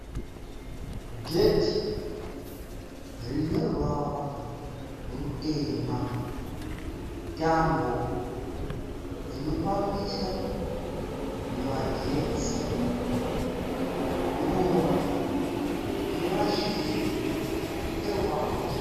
Gedhi rine ruvara rutema, tambo dzinofambisa magetsi, ruva rine mashizha eruvara rwegirini.